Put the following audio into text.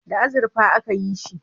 Da azurfa a ka yi shi